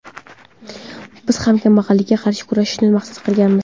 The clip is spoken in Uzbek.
Biz ham kambag‘allikka qarshi kurashishni maqsad qilganmiz.